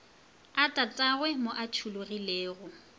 a tatagwe mo a tšhologilego